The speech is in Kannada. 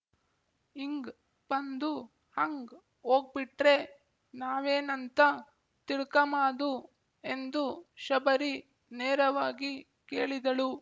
ಇಂಗ್ ಬಂದು ಅಂಗ್ ವೋಗ್‍ಬಿಟ್ರೆ ನಾವೇನಂಬ್ತ ತಿಳ್ಕಮಾದು ಎಂದು ಶಬರಿ ನೇರವಾಗಿ ಕೇಳಿದಳು